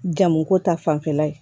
Jamuko ta fanfɛla ye